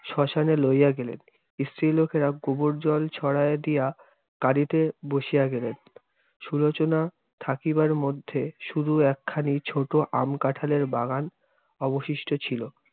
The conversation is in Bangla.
শ্মশানে লইয়া গেলেন। স্ত্রীলোকেরা গোবরজল ছড়ায় দিয়া কাঁদিতে বসিয়া গেলেন। সুলোচনা থাকিবার মধ্যে শুধু একখানি ছোট আম-কাঁঠালের বাগান অবশিষ্ট ছিল।